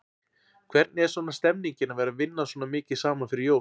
Hvernig er svona stemningin að vera vinna svona mikið saman fyrir jól?